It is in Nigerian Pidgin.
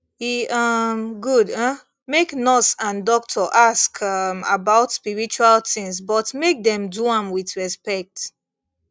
e um good um make nurse and doctor ask um about spiritual things but make dem do am with respect